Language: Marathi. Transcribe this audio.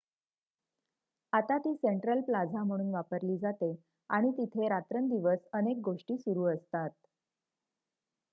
आता ती सेन्ट्रल प्लाझा म्हणून वापरली जाते आणि तिथे रात्रंदिवस अनेक गोष्टी सुरू असतात